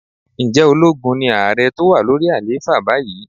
Ǹjẹ́ ológun ni ààrẹ tó wà lórí àlééfà báyìí?